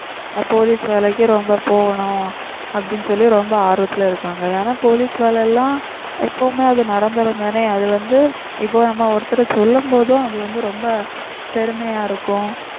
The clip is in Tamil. police வேலைக்கு ரொம்ப போகணும் அப்படின்னு சொல்லி ரொம்ப ஆர்வத்துல இருக்காங்க ஏன்னா police வேலை எல்லாம் எப்பவுமே அது நிரந்தரம்தானே அது வந்து இப்போ நம்ம ஒருத்தர் சொல்லும் போதும் அது வந்து ரொம்ப பெருமையா இருக்கும்